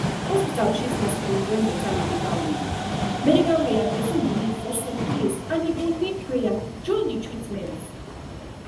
hospital treatment suppose join better medical way medical way and person belief for some place and e go need prayer join the treatment